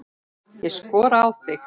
Ég skora á þig!